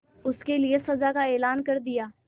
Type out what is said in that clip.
उसके लिए सजा का ऐलान कर दिया